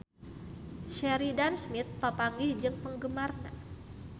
Sheridan Smith papanggih jeung penggemarna